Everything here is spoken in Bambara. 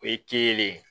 O ye ye